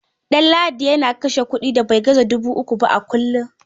Ɗanladi yana kashe kuɗi da bai gaza dubu uku ba kullum.